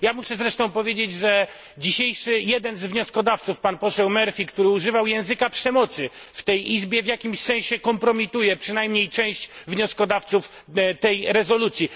Ja muszę zresztą powiedzieć, że jeden z dzisiejszych wnioskodawców, pan poseł Murphy, który używał języka przemocy w tej Izbie, w jakimś sensie kompromituje przynajmniej część wnioskodawców tej rezolucji.